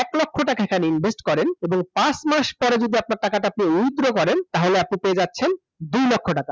এক লক্ষ টাকা খালি ইনভেস্ট করলেন এবং পাঁচ মাস পরে যদি আপনার টাকাটা withdraw করেন তাহলে আপনি পেয়ে যাচ্ছেন দুই লক্ষ টাকা